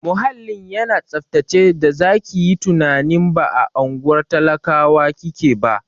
Muhallin yana tsaftace da zaki yi tunanin ba a unguwar talakawa kike ba.